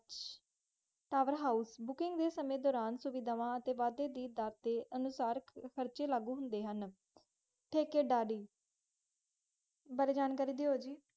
ਪੋਵੈਰ ਹੋਸ਼ ਬੁਕਿੰਗ ਡੇ ਸਮੇਂ ਦੌਰਾਨ ਸੁਵਿਧਾਵਾਂ ਤੇ ਦੱਤ ਤੇ ਕਾਰਚੇ ਲਾਗੂ ਹੁੰਦੇ ਹਾਂ, ਤੱਕੇ ਦਾਰੀ ਬਾਰੇ ਜਾਨ ਕਰਿ ਦੋ ਜੀ